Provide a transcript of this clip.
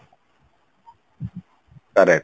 correct